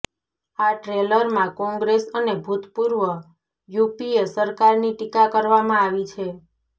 આ ટ્રેલરમાં કોંગ્રેસ અને ભૂતપૂર્વ યુપીએ સરકારની ટીકા કરવામાં આવી છે